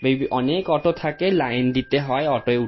may be অনেক auto থাকে line দিতে হয় অটো এ উ --